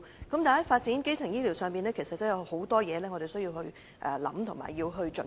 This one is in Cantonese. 但是在發展基層醫療上，其實有很多事需要思考和準備。